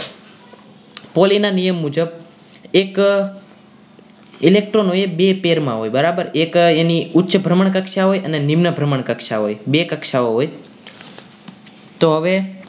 poly ના નિયમ મુજબ એક electron એક બે તેરમા બરાબર એક એની ઉચ્ચ ભ્રમણ કક્ષા હોય નિમ્ન ભ્રમણ કક્ષા હોય બે કક્ષાઓ હોય તો હવે